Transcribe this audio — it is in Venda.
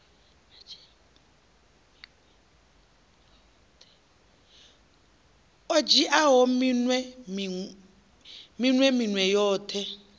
o dzhiaho minwe minwe yoṱhe